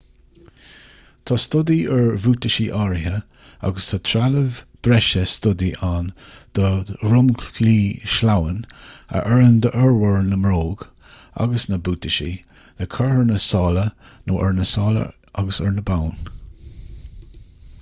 tá stodaí ar bhuataisí áirithe agus tá trealamh breise stodaí ann do dhromchlaí sleamhain a oireann d'fhormhór na mbróg agus na mbuataisí le cur ar na sála nó ar na sála agus ar na boinn